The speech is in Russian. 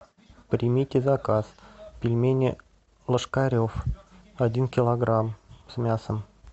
примите заказ пельмени ложкарев один килограмм с мясом